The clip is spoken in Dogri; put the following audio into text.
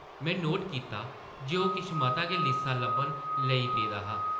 में नोट कीता जे ओह् किश मता गै लिस्सा लब्भन लेई पेदा हा।